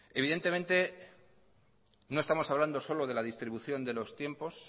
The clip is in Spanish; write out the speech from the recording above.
evidentemente no estamos hablando solo de la distribución de los tiempos